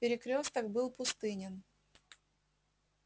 перекрёсток был пустынен